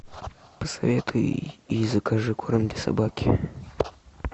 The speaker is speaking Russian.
посоветуй и закажи корм для собаки